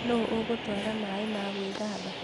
Nũũ ũgũtwara maĩ ma gwĩthamba?